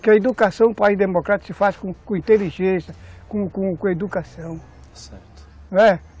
Que a educação, um país democrático, se faz com com inteligência, com com educação. Certo. Não é?